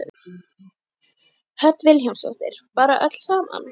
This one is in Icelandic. Hödd Vilhjálmsdóttir: Bara öll saman?